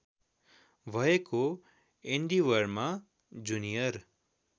भएको एन्डिवरमा जुनियर